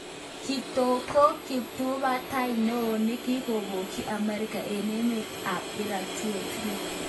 Kitog ko kiptubatai neo nekikobokyi America eng emetab Iraq 2003.